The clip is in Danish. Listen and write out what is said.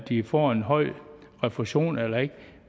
de får en høj refusion eller ikke